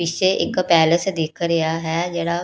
ਪਿੱਛੇ ਇੱਕ ਪੈਲਸ ਦਿਖ ਰਿਹਾ ਹੈ ਜਿਹੜਾ--